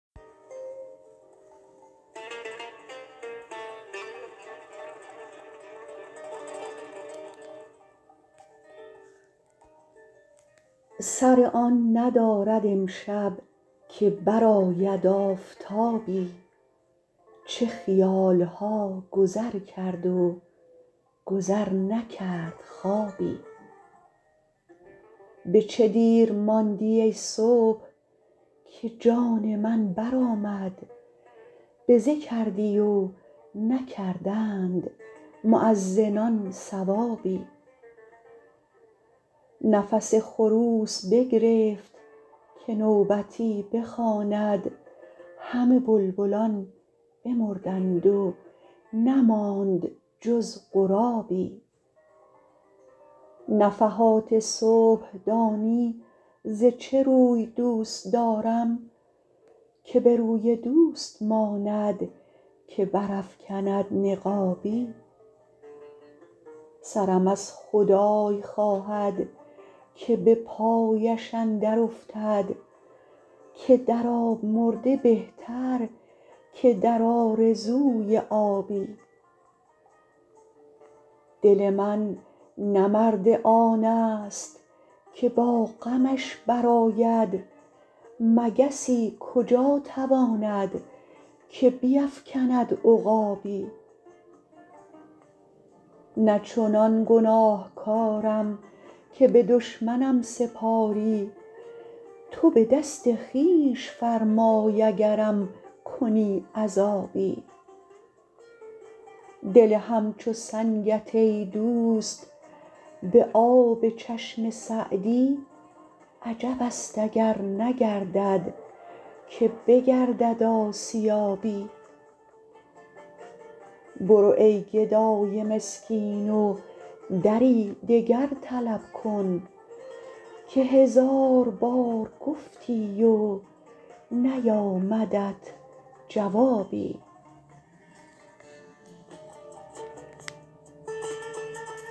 سر آن ندارد امشب که برآید آفتابی چه خیال ها گذر کرد و گذر نکرد خوابی به چه دیر ماندی ای صبح که جان من برآمد بزه کردی و نکردند مؤذنان ثوابی نفس خروس بگرفت که نوبتی بخواند همه بلبلان بمردند و نماند جز غرابی نفحات صبح دانی ز چه روی دوست دارم که به روی دوست ماند که برافکند نقابی سرم از خدای خواهد که به پایش اندر افتد که در آب مرده بهتر که در آرزوی آبی دل من نه مرد آن ست که با غمش برآید مگسی کجا تواند که بیفکند عقابی نه چنان گناهکارم که به دشمنم سپاری تو به دست خویش فرمای اگرم کنی عذابی دل همچو سنگت ای دوست به آب چشم سعدی عجب است اگر نگردد که بگردد آسیابی برو ای گدای مسکین و دری دگر طلب کن که هزار بار گفتی و نیامدت جوابی